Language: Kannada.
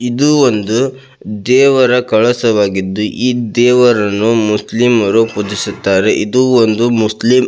ಇದು ಒಂದು ದೇವರ ಕಲಸವಾಗಿದ್ದು ಈ ದೇವರನ್ನು ಮುಸ್ಲಿಮರು ಪೊಜಿಸುತ್ತಿದ್ದರೆ ಇದು ಒಂದು ಮುಸ್ಲಿಂ-